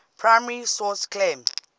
primary source claim